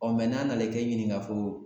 n'an nana ke ɲininka ko